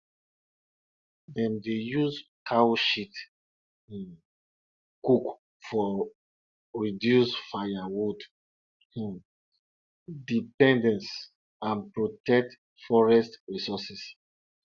we dey keep all our harvest for inside and go sweep softly for days softly for days when the land dey rest.